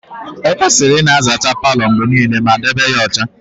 Ekwesịrị ịna azacha Palo mgbe niile ma na debe ya ọcha